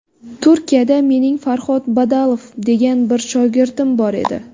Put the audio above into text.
Turkiyada mening Farhod Badalov degan bir shogirdim bor edi.